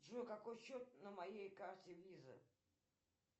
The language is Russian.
джой какой счет на моей карте виза